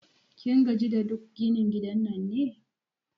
Kin gaji da duk ginin gidan nan ne?